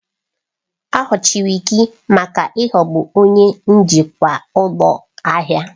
A nwụchiri gị maka ịghọgbu onye njikwa ụlọ ahịa!